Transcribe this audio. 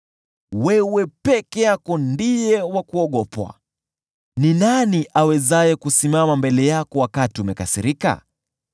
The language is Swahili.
Wewe peke yako ndiye wa kuogopwa. Ni nani awezaye kusimama mbele yako unapokasirika?